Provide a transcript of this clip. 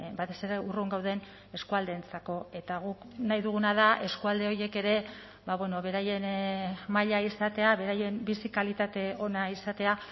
batez ere urrun gauden eskualdeentzako eta guk nahi duguna da eskualde horiek ere beraien maila izatea beraien bizi kalitate ona izatea